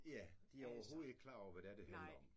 Ja. De er overhovedet ikke klar over hvad det handler om